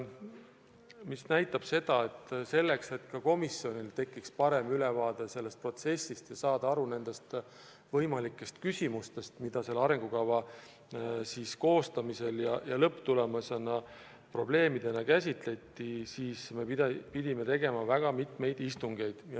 , mis näitab seda, et selleks, et komisjonil tekiks parem ülevaade sellest protsessist ja saadaks aru küsimustest ja probleemidest, mida selle arengukava koostamisel käsitleti, me pidime tegema õige mitu istungit.